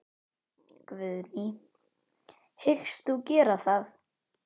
Guðný: Hyggst þú gera það?